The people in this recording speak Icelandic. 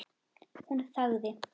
Hún þagði.